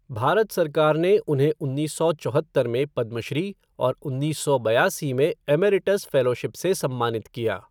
भारत सरकार ने उन्हें उन्नीस सौ चौहत्तर में पद्मश्री और उन्नीस सौ बयासी में एमेरिटस फ़ेलोशिप से सम्मानित किया।